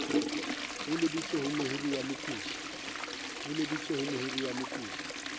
e lebiswe ho mohiriwa mokodi